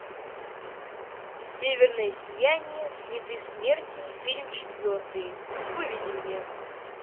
северное сияние следы смерти фильм четвертый выведи мне